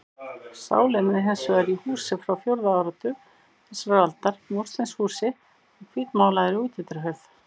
Sálin er hins vegar í húsi frá fjórða áratug þessarar aldar, múrsteinshúsi með hvítmálaðri útidyrahurð.